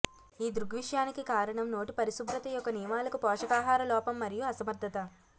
ఈ దృగ్విషయానికి కారణం నోటి పరిశుభ్రత యొక్క నియమాలకు పోషకాహారలోపం మరియు అసమర్థత